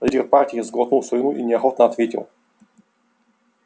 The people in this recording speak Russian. лидер партии сглотнул слюну и неохотно ответил